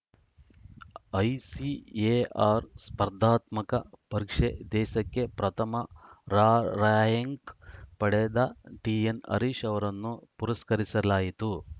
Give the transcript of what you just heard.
ICAR ಸ್ಪರ್ಧಾತ್ಮಕ ಪರೀಕ್ಷೆ ದೇಶಕ್ಕೆ ಪ್ರಥಮ ರಾರ‍ಯಂಕ್‌ ಪಡೆದ ಟಿಎನ್‌ ಹರೀಶ್‌ ಅವರನ್ನು ಪುರಸ್ಕರಿಸಲಾಯಿತು